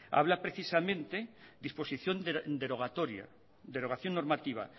habla precisamente disposición derogatoria derogación normativa